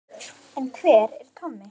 En hver er Tommi?